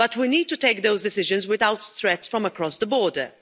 But we need to take those decisions without threats from across the border.